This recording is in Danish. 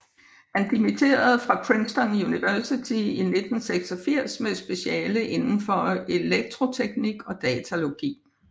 Han dimitterede fra Princeton University i 1986 med speciale inden for elektroteknik og datalogi